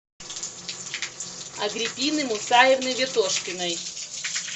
агриппины мусаевны ветошкиной